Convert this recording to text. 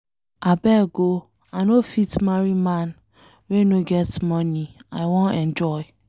Abeg oo, I no fit marry man wey no get money, I wan enjoy.